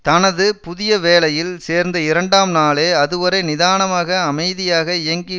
தனது புதிய வேலையில் சேர்ந்த இரண்டாம் நாளே அதுவரை நிதானமாக அமைதியாக இயங்கி